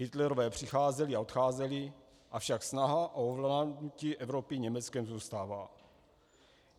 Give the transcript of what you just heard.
Hitlerové přicházeli a odcházeli, avšak snaha o ovládnutí Evropy Německem zůstává.